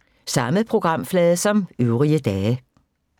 Samme programflade som øvrige dage